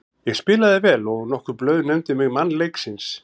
Ég spilaði vel og nokkur blöð nefndu mig mann leiksins.